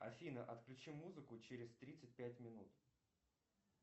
афина отключи музыку через тридцать пять минут